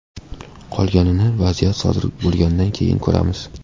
Qolganini vaziyat sodir bo‘lgandan keyin ko‘ramiz.